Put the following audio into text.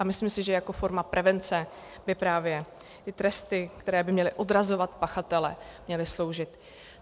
A myslím si, že jako forma prevence by právě ty tresty, které by měly odrazovat pachatele, měly sloužit.